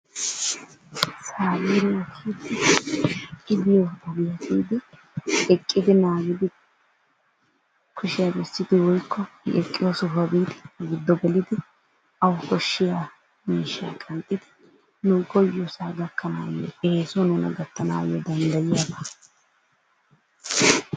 Baabure giyooge i biyo ogiyaa biidi eqqidi naagidi kushshiya bessidi woykko eqqido sohuwaa biidi gido gelidi awu koshshiya miishshaa qanxxidi koyiyoosaa gakkanayo eesuwaan nuna gattanaayoo danddayiyaabaa.